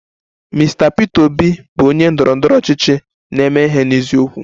Mr Peter Obi bụ onye ndọrọ ndọrọ ọchịchị na-eme ihe n'eziokwu